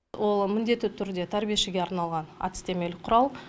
ол міндетті түрде тәрбиешіге арналған әдістемелік құрал